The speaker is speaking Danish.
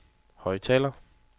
højttaler